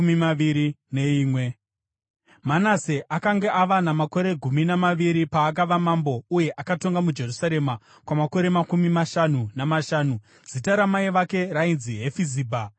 Manase akanga ava namakore gumi namaviri paakava mambo, uye akatonga muJerusarema kwamakore makumi mashanu namashanu. Zita ramai vake rainzi Hefizibha.